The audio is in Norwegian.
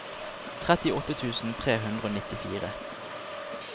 trettiåtte tusen tre hundre og nittifire